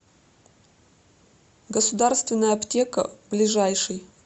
государственная аптека ближайший